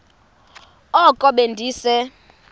oko be ndise